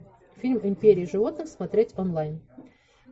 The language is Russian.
фильм империя животных смотреть онлайн